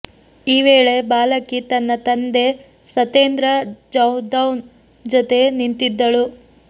ಈ ವೇಳೆ ಬಾಲಕಿ ತನ್ನ ತಂದೆ ಸತೇಂದ್ರ ಜಾದೌನ್ ಜೊತೆ ನಿಂತಿದ್ದಳು